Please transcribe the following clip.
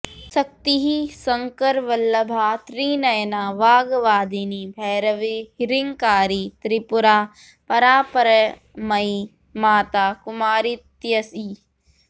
शक्तिः शङ्करवल्लभा त्रिनयना वाग्वादिनी भैरवी ह्रिङ्कारी त्रिपुरा परापरमयी माता कुमारीत्यसि